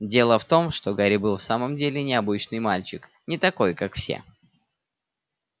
дело в том что гарри был и в самом деле необычный мальчик не такой как все